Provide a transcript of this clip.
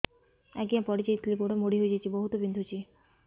ଆଜ୍ଞା ପଡିଯାଇଥିଲି ଗୋଡ଼ ମୋଡ଼ି ହାଇଯାଇଛି ବହୁତ ବିନ୍ଧୁଛି